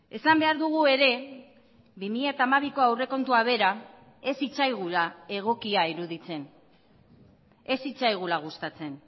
esan behar dugu ere bi mila hamabiko aurrekontua bera ez zitzaigula egokia iruditzen ez zitzaigula gustatzen